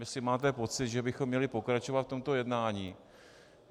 Jestli máte pocit, že bychom měli pokračovat v tomto jednání?